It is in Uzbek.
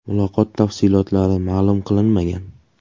Muloqot tafsilotlari ma’lum qilinmagan.